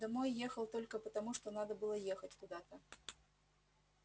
домой ехал только потому что надо было ехать куда-то